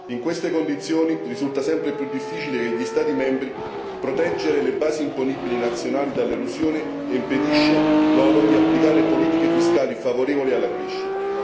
In queste condizioni risulta sempre più difficile per gli Stati membri proteggere le basi imponibili nazionali dall'erosione, il che impedisce loro di applicare politiche fiscali favorevoli alla crescita.